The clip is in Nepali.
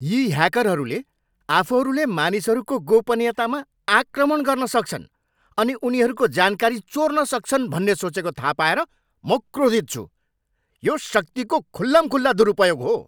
यी ह्याकरहरूले आफूहरूले मानिसहरूको गोपनीयतामा आक्रमण गर्न सक्छन् अनि उनीहरूको जानकारी चोर्न सक्छन् भन्ने सोचेको थाहा पाएर म क्रोधित छु। यो शक्तिको खुल्लमखुल्ला दुरुपयोग हो।